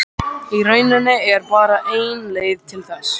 Í rauninni er bara ein leið til þess.